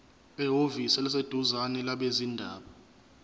ehhovisi eliseduzane labezindaba